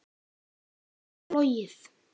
Geta menn flogið?